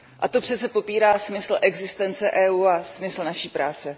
To přece popírá smysl existence EU a smysl naší práce.